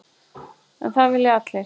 En það vilja allir.